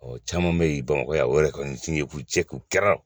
Ɔ caman bɛ yen bamakɔ yan o yɛrɛ kɔni diɲɛku jɛkulu kɛra